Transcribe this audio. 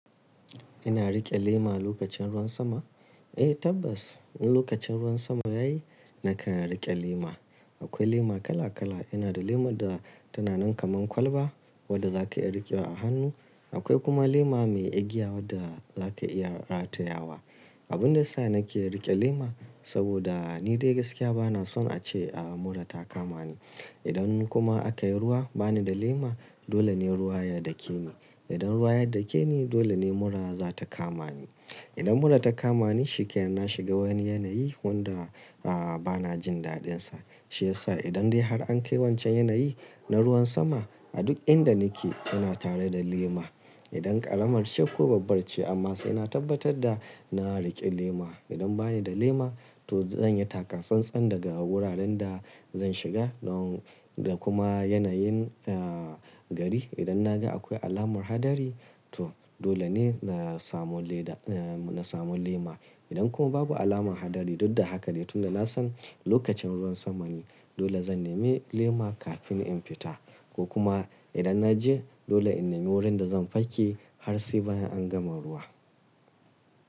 Ina riƙe lema lokacin ruwan sama? Eh tabbas, wani lokaci in ruwan sama ya yi nakan riƙe lema. Akwai lema kala kala, ina da lema da tana nan kaman kwalba wadda za ka iya riƙewa a hannu. Akwai kuma lema mai igiya wadda za ka iya ratayawa. Abun da yasa nake riƙe lema saboda ni dai gaskiya ba na son a ce mura ta kama ni. Idan kuma aka yi ruwa bani da lema dole ne ruwa ya dake ni. Idan ruwa ya dake ni dole ne mura za ta kama ni. Idan mura ta kama ni shikenan na shiga wani yanayi wadda aah bana jin daɗinsa. Shi ya sa idan dai har an kai wancan yanayi na ruwan sama a duk inda nake ina tare da lema. Idan ƙaramar ce ko babbar ce amma sai na tabbatar da na riƙe lema. Idan bani da lema to zan yi takatsantsan daga wuraren da zan shiga don da kuma yanayin aa gari. Idan na ga akwai alamar hadari to dole ne na samu leda aa na samu lema. Idan kuma babu alamar hadari duk da haka dai tunda na san lokacin ruwan sama ne dole zan nemi lema kafin in fita ko kuma idan na je dole in nemi wurin da zan fake har sai bayan an gama ruwa.